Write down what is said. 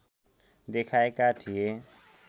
देखाएका थिए